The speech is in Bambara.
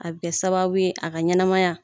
A bi kɛ sababu a ka ɲɛnɛmaya